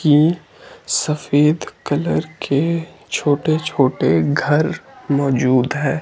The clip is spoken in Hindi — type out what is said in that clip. की सफेद कलर के छोटे छोटे घर मौजूद है।